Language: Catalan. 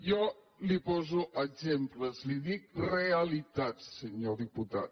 jo li’n poso exemples li dic realitats senyor diputat